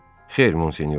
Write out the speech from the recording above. Xeyr, Monsignor.